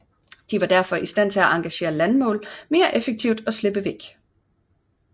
De var derfor i stand til at engagere landmål mere effektivt og slippe væk